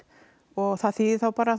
og það þýðir þá bara